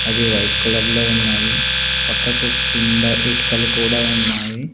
అది white colour లో ఉన్నాది పక్కకు కింద ఇటుకలు కూడా ఉన్నాయి.